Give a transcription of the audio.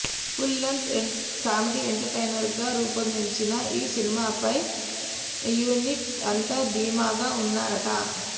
full length comedy ఎంటర్టైనర్గా రూపొందిన ఈ సినిమాపై యూనిట్ అంతా ధీమాగా వున్నార్ట